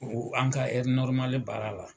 O an ka heri baara la.